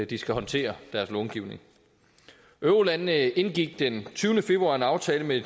de skal håndtere deres långivning eurolandene indgik den tyvende februar en aftale med